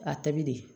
A tabi de